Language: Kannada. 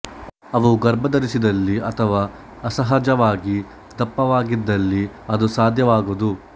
ಅವು ಗರ್ಭ ಧರಿಸಿದಲ್ಲಿ ಅಥವಾ ಅಸಹಜವಾಗಿ ದಪ್ಪವಾಗಿದ್ದಲ್ಲಿ ಇದು ಸಾಧ್ಯವಾಗದು